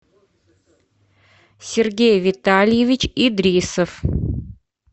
сергей витальевич идрисов